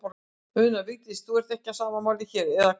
Una: Vigdís, þú ert ekki á sama máli hér, eða hvað?